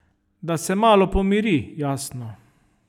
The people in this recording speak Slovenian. Da se malo pomiri, jasno.